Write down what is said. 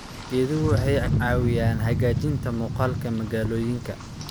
Geeduhu waxay caawiyaan hagaajinta muuqaalka magaalooyinka.